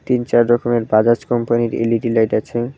তিন চার রকমের বাজাজ কোম্পানির এল_ই_ডি লাইট আছে।